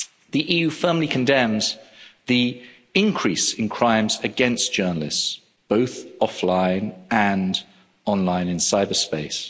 The EU firmly condemns the increase in crimes against journalists, both offline and online in cyberspace.